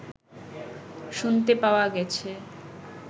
শুনতে পাওয়া গেছে